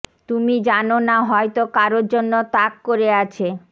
তুমি জানো না হয়তো কারো জন্য তাক করে আছে